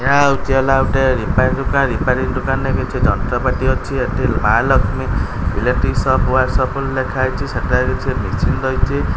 ଏହା ହୋଉଚି ହେଲା ଗୋଟେ ରିପାଏର୍ ଦୋକାନ୍। ରିପାଏରିଙ୍ଗ୍ ଦୋକାନ୍ ରେ କିଛି ଯନ୍ତ୍ର ପାତି ଅଛି। ଏଠି Maa Lakshmi electric shop workshop ବୋଲି ଲେଖାହେଇଚି। ସେଠାରେ କିଛି ମିଶିନ୍ ରହିଚି।